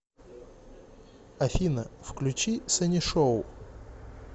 афина включи санишоу